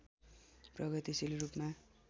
प्रगतिशील रूपमा